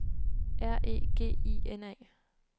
R E G I N A